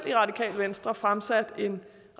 i radikale venstre fremsat en